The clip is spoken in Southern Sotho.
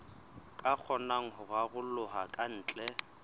ka kgonang ho raroloha kantle